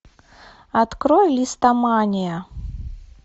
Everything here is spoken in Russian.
открой листомания